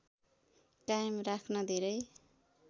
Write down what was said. कायम राख्न धेरै